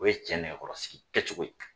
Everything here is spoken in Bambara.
O ye cɛ nɛgɛkɔrɔ sigi kɛcogo ye.